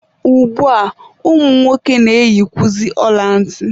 Ugbua, ụmụ nwoke na-eyikwuzi ọla ntị.